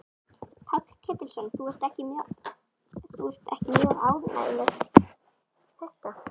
Páll Ketilsson: Þú ert ekki mjög ánægð með þetta?